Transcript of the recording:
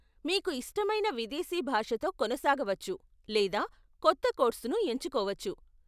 మీకు ఇష్టమైన విదేశీ భాషతో కొనసాగవచ్చు లేదా కొత్త కోర్సును ఎంచుకోవచ్చు.